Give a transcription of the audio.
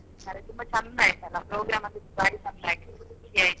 ಹ್ಮ್ ಹಾಗೆ ತುಂಬ ಚೆಂದಾ ಆಯ್ತಲ್ಲ program ಅಂತೂ ಬಾರಿ ಚೆಂದ ಆಯ್ತು ಖುಷಿ ಆಯ್ತು.